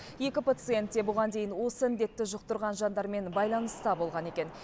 екі пациент те бұған дейін осы індетті жұқтырған жандармен байланыста болған екен